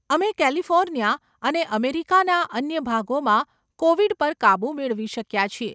અમે કેલિફોર્નિયા અને અમેરિકાના અન્ય ભાગોમાં કોવિડ પર કાબૂ મેળવી શક્યાં છીએ.